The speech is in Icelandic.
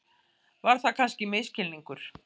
Var það kannski misskilningur?